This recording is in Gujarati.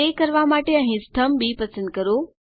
તે કરવા માટે અહીં સ્તંભ બી પસંદ કરો